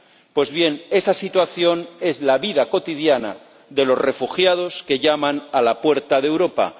Pues bien, esa situación es la vida cotidiana de los refugiados que llaman a la puerta de Europa.